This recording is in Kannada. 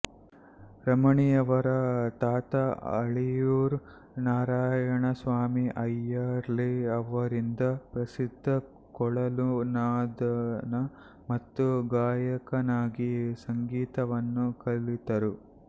ರಮಣೀಯವರ ತಾತ ಅಳಿಯೂರ್ ನಾರಾಯಣ ಸ್ವಾಮಿ ಅಯ್ಯರ್ಲಿ ಅವರಿಂದ ಪ್ರಸಿದ್ಧ ಕೊಳಲು ನಾದನ ಮತ್ತು ಗಾಯಕನಾಗಿ ಸಂಗೀತವನ್ನು ಕಲಿತರು